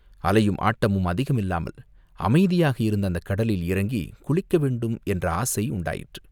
அலையும் ஆட்டமும் அதிகமில்லாமல் அமைதியாக இருந்த அந்தக் கடலில் இறங்கிக் குளிக்க வேண்டும் என்ற ஆசை உண்டாயிற்று.